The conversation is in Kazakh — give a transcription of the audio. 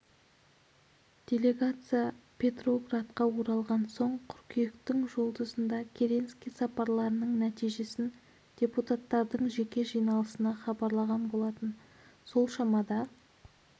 делегация петроградқа оралған соң қыркүйектің жұлдызында керенский сапарларының нәтижесін депутаттардың жеке жиналысына хабарлаған болатын сол шамада